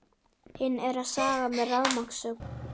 Hinn er að saga með rafmagnssög.